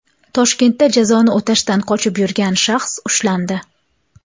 Toshkentda jazoni o‘tashdan qochib yurgan shaxs ushlandi.